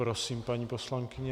Prosím, paní poslankyně.